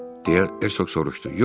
Deyə Herşoq soruşdu.